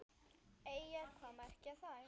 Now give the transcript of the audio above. Eyjar, hvað merkja þær?